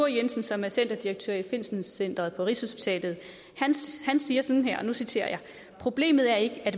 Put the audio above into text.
jensen som er centerdirektør på finsencentret på rigshospitalet siger sådan her og nu citerer jeg problemet er ikke at